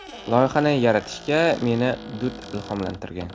Loyihani yaratishga meni Dud ilhomlantirgan.